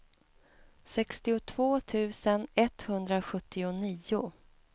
sextiotvå tusen etthundrasjuttionio